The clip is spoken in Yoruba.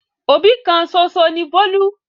Òbí kan ṣoṣo ni Bólú.